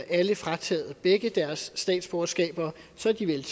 alle frataget begge deres statsborgerskaber og så er de vel